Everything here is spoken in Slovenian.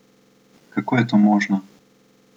Kako je to možno?